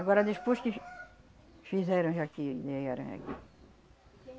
Agora, despois que f fizeram já que